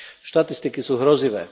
Štatistiky sú hrozivé.